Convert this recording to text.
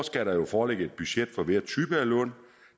skal der jo foreligge et budget for hver type af lån